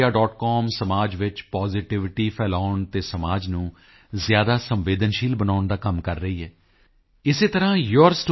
com ਸਮਾਜ ਵਿੱਚ positivity ਫੈਲਾਉਣ ਅਤੇ ਸਮਾਜ ਨੂੰ ਜ਼ਿਆਦਾ ਸੰਵੇਦਨਸ਼ੀਲ ਬਣਾਉਣ ਦਾ ਕੰਮ ਕਰ ਰਹੀ ਹੈ ਇਸੇ ਤਰ੍ਹਾਂ yourstory